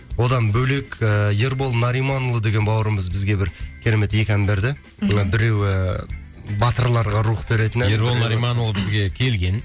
одан бөлек ы ербол нариманұлы деген бауырымыз бізге бір керемет екі ән берді мхм мына біреуі батырларға рух беретін ән ербол нариманұлы ол бізге келген